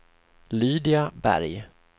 Lydia Berg